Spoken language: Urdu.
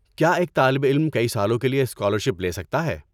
کیا ایک طالب علم کئی سالوں کے لیے اسکالرشپ لے سکتا ہے؟